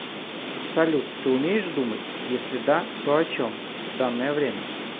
салют ты умеешь думать если да то о чем в данное время